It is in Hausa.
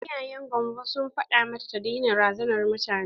Iyayen gamvo sun faɗa mata ta daina razanar mutane.